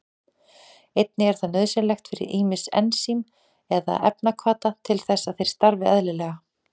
Einnig er það nauðsynlegt fyrir ýmis ensím eða efnahvata til þess að þeir starfi eðlilega.